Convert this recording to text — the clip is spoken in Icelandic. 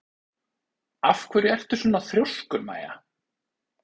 Af hverju ertu svona þrjóskur, Maia?